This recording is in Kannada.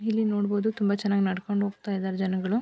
ಇಲ್ಲಿ ನೋಡಬಹುದು ತುಂಬಾ ಚೆನ್ನಾಗಿ ನಡ್ಕೊಂಡು ಹೋಗ್ತಾ ಇದ್ದಾರೆ ಜನಗಳು.